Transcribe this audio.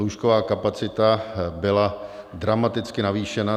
Lůžková kapacita byla dramaticky navýšena.